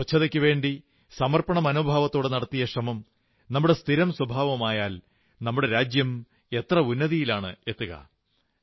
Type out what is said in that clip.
സ്വച്ഛതയ്ക്കു വേണ്ടി സമർപ്പണമനോഭാവത്തോടെ നടത്തിയ ശ്രമം നമ്മുടെ സ്ഥിരം സ്വഭാവമായാൽ നമ്മുടെ രാജ്യം എത്ര ഉന്നതിയിലെത്തിച്ചേരും